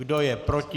Kdo je proti?